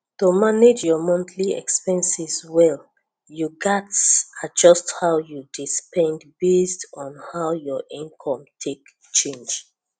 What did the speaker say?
to manage your monthly expenses well you gats adjust how you dey spend based on how your income take change